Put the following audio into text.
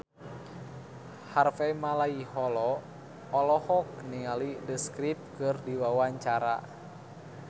Harvey Malaiholo olohok ningali The Script keur diwawancara